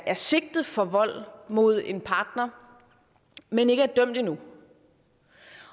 er sigtet for vold mod en partner men ikke er dømt endnu